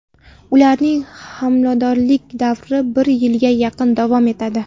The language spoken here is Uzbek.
Ularning homiladorlik davri bir yilga yaqin davom etadi.